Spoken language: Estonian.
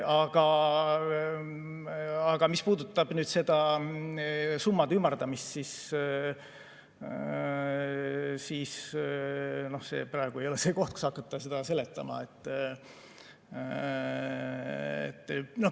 Aga mis puudutab summade ümardamist, siis see praegu ei ole koht, kus hakata seda seletama.